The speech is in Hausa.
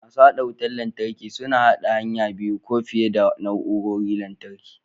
Masu haɗa wutar lantarki suna haɗa hanya biyu ko fiye da na'urorin lantarki.